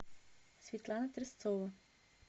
светлана тресцова